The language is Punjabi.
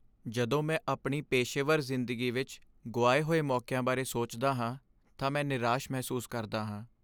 ਜਦੋਂ ਮੈਂ ਆਪਣੀ ਪੇਸ਼ੇਵਰ ਜ਼ਿੰਦਗੀ ਵਿੱਚ ਗੁਆਏ ਗਏ ਮੌਕਿਆਂ ਬਾਰੇ ਸੋਚਦਾ ਹਾਂ ਤਾਂ ਮੈਂ ਨਿਰਾਸ਼ ਮਹਿਸੂਸ ਕਰਦਾ ਹਾਂ।